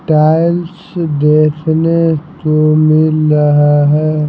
Tiles देखने को मिल रहा है।